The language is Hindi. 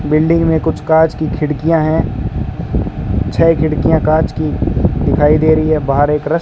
बिल्डिंग में कुछ कांच की खिड़कियां हैं छ खिड़कियां कांच की दिखाई दे रही है बाहर एक रस --